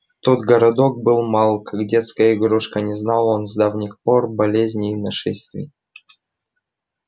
тот городок был мал как детская игрушка не знал он с давних пор болезней и нашествий